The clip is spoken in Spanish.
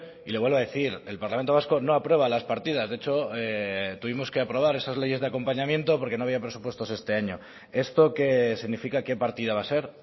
y le vuelvo a decir el parlamento vasco no aprueba las partidas de hecho tuvimos que aprobar esas leyes de acompañamiento porque no había presupuestos este año esto qué significa qué partida va a ser